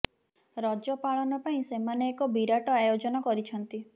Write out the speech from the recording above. ରଜ ପାଳନ ପାଇଁ ସେମାନେ ଏକ ବିରାଟ ଆୟୋଜନ କରିଛନ୍ତି